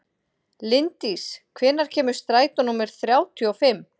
Linddís, hvenær kemur strætó númer þrjátíu og fimm?